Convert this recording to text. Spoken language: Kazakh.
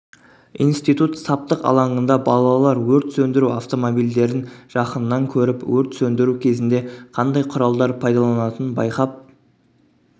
институт саптық алаңында балалар өрт сөндіру автомобильдерін жақыннан көріп өрт сөндіру кезінде қандай құралдар пайдаланылатынын байқап